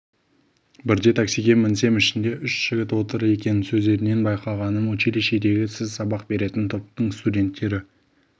бірде таксиге мінсем ішінде үш жігіт отыр екен сөздерінен байқағаным училищедегі сіз сабақ беретін топтың студенттері